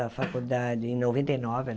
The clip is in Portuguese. A faculdade em noventa e nove